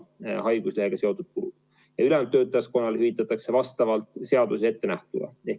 Ülejäänud töötajaskonnale hüvitatakse vastavalt seaduses ettenähtule.